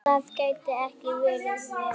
Það gæti ekki verið verra.